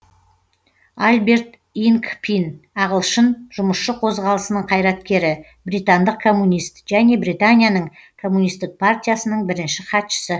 альберт инкпин ағылшын жұмысшы қозғалысының қайраткері британдық коммунист және британияның коммунисттік партиясының бірінші хатшысы